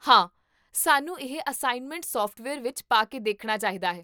ਹਾਂ, ਸਾਨੂੰ ਇਹ ਅਸਾਇਨਮੈਂਟ ਸੌਫਟਵੇਅਰ ਵਿੱਚ ਪਾ ਕੇ ਦੇਖਣਾ ਚਾਹੀਦਾ ਹੈ